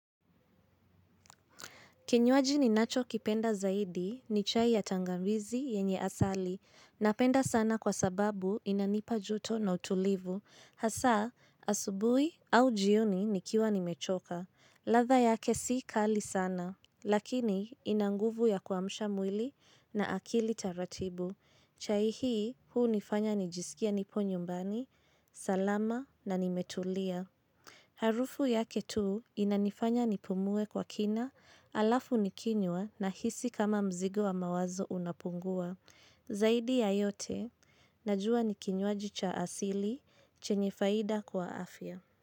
Kinywaji ninachokipenda zaidi ni chai ya tangawizi yenye asali napenda sana kwa sababu inanipa joto na utulivu. Hasa, asubuhi au jioni nikiwa nimechoka. Ladha yake si kali sana, lakini ina nguvu ya kuamsha mwili na akili taratibu. Chai hii huunifanya nijisikie nipo nyumbani, salama na nimetulia. Harufu yake tu inanifanya nipumue kwa kina alafu nikinywa nahisi kama mzigo wa mawazo unapungua. Zaidi ya yote, najua ni kinywaji cha asili, chenye faida kwa afya.